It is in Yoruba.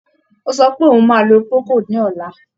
Ó sọ pé òun máa lo Procold ní ọ̀la.